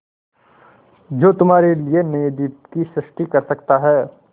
जो तुम्हारे लिए नए द्वीप की सृष्टि कर सकता है